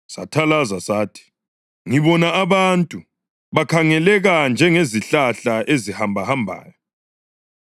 Sathalaza sathi, “Ngibona abantu; bakhangeleka njengezihlahla ezihambahambayo.”